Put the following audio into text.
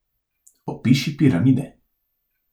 Opiši piramide.